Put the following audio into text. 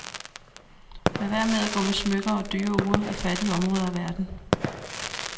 Lad være med at gå med smykker og dyre ure i fattige områder af verden.